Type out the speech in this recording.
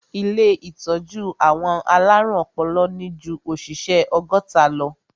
Ilé ìtọ́jú àwọn alárùn ọpọlọ ní ju òṣìṣẹ́ ọgọ́ta lọ.